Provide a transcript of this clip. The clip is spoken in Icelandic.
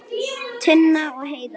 Tinna og Heiðar.